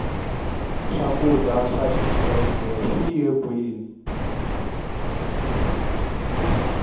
swakudya swa xikhle swiye kwini